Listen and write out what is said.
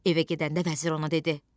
Evə gedəndə vəzir ona dedi: